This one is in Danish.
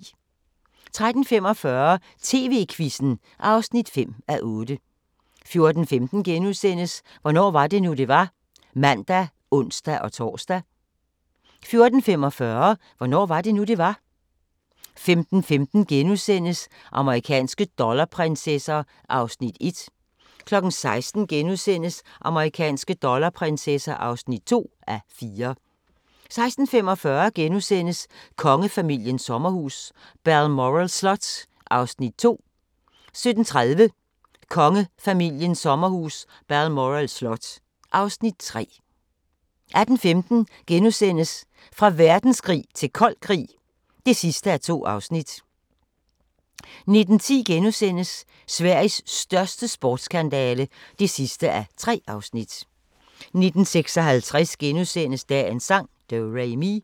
13:45: TV-Quizzen (5:8) 14:15: Hvornår var det nu, det var? *(man og ons-tor) 14:45: Hvornår var det nu, det var? 15:15: Amerikanske dollarprinsesser (1:4)* 16:00: Amerikanske dollarprinsesser (2:4)* 16:45: Kongefamiliens sommerhus – Balmoral Slot (Afs. 2)* 17:30: Kongefamiliens sommerhus – Balmoral slot (Afs. 3) 18:15: Fra verdenskrig til kold krig (2:2)* 19:10: Sveriges største spionskandale (3:3)* 19:56: Dagens sang: Do-re-mi *